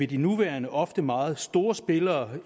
de nuværende ofte meget store spillere